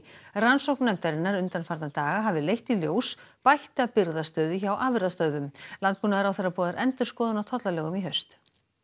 rannsókn nefndarinnar undanfarna daga hafi leitt í ljós bætta birgðastöðu hjá afurðastöðvum landbúnaðarráðherra boðar endurskoðun á tollalögum í haust